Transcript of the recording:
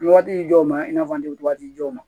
Waati jɔw ma i n'a fɔ an tɛ waati jɔw ma